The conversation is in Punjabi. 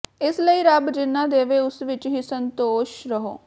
ਇਸ ਲਈ ਰੱਬ ਜਿੰਨਾ ਦੇਵੇ ਉਸ ਵਿਚ ਹੀ ਸੰਤੋਖ ਕਰੋ